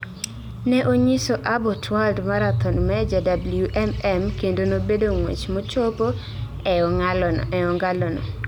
Ne onyiso Abott World Marathon Major (WMM) kendo nobedo ng'wech mochopo ee ong'alano